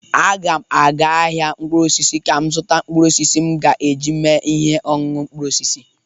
Aga m aga ahịa mkpụrụosisi ka m zụta mkpụrụosisi m ga-eji mee ihe oñuñu mkpụrụosisi.